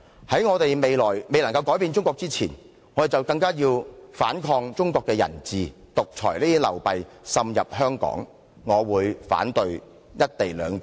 "在我們未有能力改變中國之前，我們便須反抗中國的人治，制止獨裁的流弊滲入香港，因此，我會反對《條例草案》。